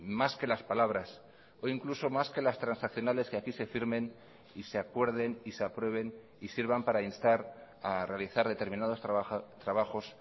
más que las palabras o incluso más que las transaccionales que aquí se firmen y se acuerden y se aprueben y sirvan para instar a realizar determinados trabajos